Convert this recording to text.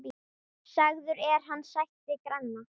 Sagður er hann sættir granna.